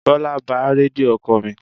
Bọ́lá ba Rédíò ọkọ̀ mi.